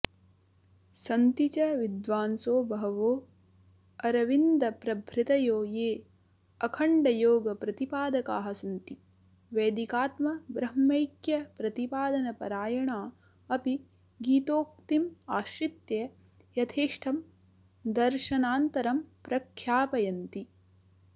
सन्ति च विद्वांसो बहवोऽरविन्द्रप्रभृतयो येऽखण्डयोगप्रतिपादकाः सन्ति वैदिकात्मब्रह्मैक्यप्रतिपादनपरायणा अपि गीतोक्तिमाश्रित्य यथेष्टं दर्शनान्तरं प्रख्यापयन्ति